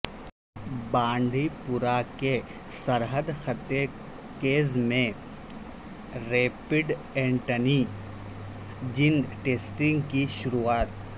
بانڈی پورہ کے سرحدی خطے گریز میں ریپڈ اینٹی جن ٹیسٹنگ کی شروعات